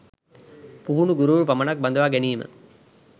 පුහුණු ගුරුවරු පමණක් බඳවා ගැනීම